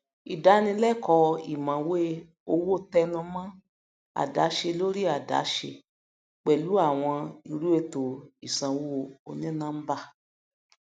ìdánilẹkọọ ìmọwé owó tẹnùmọ àdáṣelóríàdáṣe pẹlú àwọn irúètò ìsanwó onínọńbà